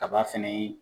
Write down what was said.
Kaba fɛnɛ ye